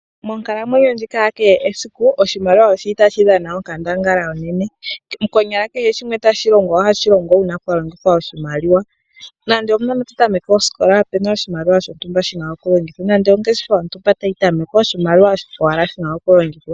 Monkalamwenyo ndjika ya kehe esiku, oshimaliwa tashi dhana onkandangala onene. Konyala kehe shimwe tashi longwa, ohashi longwa wuna oku longitha oshimaliwa. Nande uunona tawu tameke oskola opuna oshimaliwa shontumba shina oku longithwa, nande ongeshefa yontumba tayi tamekwa oshimaliwa owala shina oku longithwa.